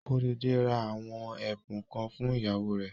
Kóredé ra àwọn ẹ̀bùn kan fún ìyàwó rẹ̀.